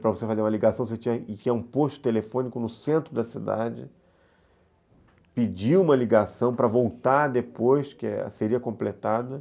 Para você fazer uma ligação, você tinha que ir a um posto telefônico no centro da cidade, pedir uma ligação para voltar depois, que seria completada.